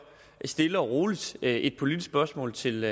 stiller og roligt et politisk spørgsmål til